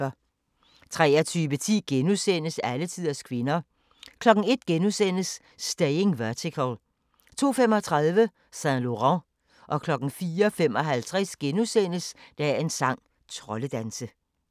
23:10: Alletiders kvinder * 01:00: Staying Vertical * 02:35: Saint Laurent 04:55: Dagens sang: Troldedanse *